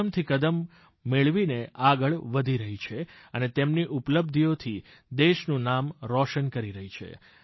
કદમથી કદમ મેળવીને આગળ વધી રહી છે અને તેમની ઉપલબ્ધિઓથી દેશનું નામ રોશન કરી રહી છે